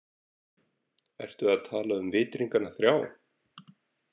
Ertu að tala um vitringana þrjá?